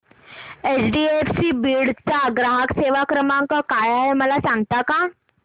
HDFC Beed चा ग्राहक सेवा क्रमांक काय आहे मला सांगता का